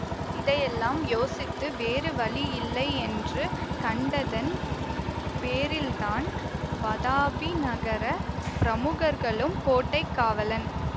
இதையெல்லாம் யோசித்து வேறு வழியில்லையென்று கண்டதன் பேரில்தான் வதாபி நகர பிரமுகர்களும் கோட்டை காவலன்